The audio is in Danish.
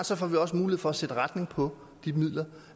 så får vi også mulighed for at sætte retning på de midler